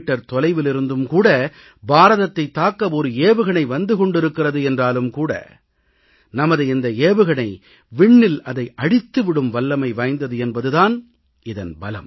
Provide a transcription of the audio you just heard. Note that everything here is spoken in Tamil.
தொலைவிலிருந்தும் கூட பாரதத்தைத் தாக்க ஒரு ஏவுகணை வந்து கொண்டிருக்கிறது என்றாலும் கூட நமது இந்த ஏவுகணை விண்ணில் அதை அழித்து விடும் வல்லமை வாய்ந்தது என்பது தான் இதன் பலம்